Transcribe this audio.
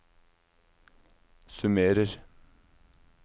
summerer